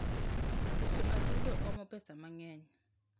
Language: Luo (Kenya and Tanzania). uso atudo omo pesa mangeny